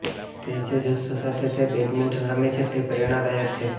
તે જે જુસ્સો સાથે તે બેડમિંટન રમે છે તે પ્રેરણાદાયક છે